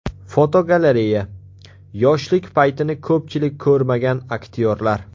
Fotogalereya: Yoshlik paytini ko‘pchilik ko‘rmagan aktyorlar.